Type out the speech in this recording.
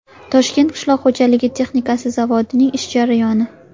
Toshkent qishloq xo‘jaligi texnikasi zavodining ish jarayoni .